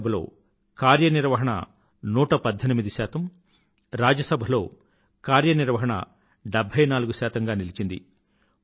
లోక్ సభలో కార్యనిర్వహణ నూట పధ్ధెనిమిది శాతం రాజ్య సభలో కార్యనిర్వహణ డెభ్బై నాలుగు శాతం గా నిలిచింది